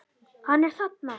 Hann er þarna!